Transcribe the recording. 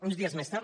uns dies més tard